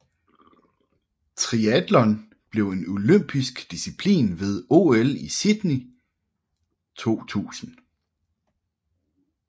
Triatlon blev en olympisk disciplin ved OL i Sydney 2000